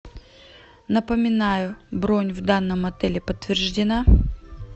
напоминаю бронь в данном отеле подтверждена